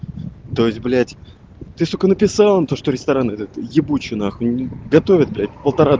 то есть блять ты сука написала им то что ресторан этот ебучий нахуй готовят блять полтора